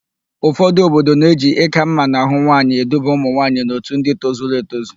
Ụfọdụ obodo na-eji ị́kà mma n'ahụ nwaanyị eduba ụmụnwaanyị n'otu ndị tozuru etozu.